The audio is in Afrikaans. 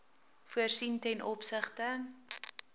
voorsien ten opsigte